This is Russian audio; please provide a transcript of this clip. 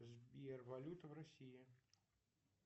сбер валюта в россии